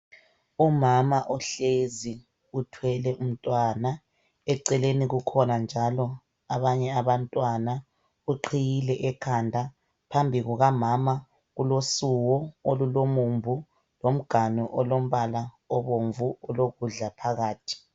Umama uhlezi uthwele umntwana. Eceleni kukhona njalo abanye abantwana , uqhiyile ekhanda, phambi kukamama kulokhomane olulomumbu lomganu olombala obomvu olokudla phakathi.